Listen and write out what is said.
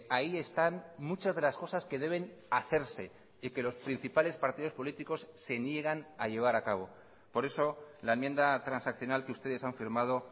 ahí están muchas de las cosas que deben hacerse y que los principales partidos políticos se niegan a llevar a cabo por eso la enmienda transaccional que ustedes han firmado